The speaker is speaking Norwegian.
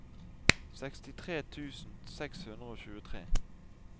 sekstitre tusen seks hundre og tjuetre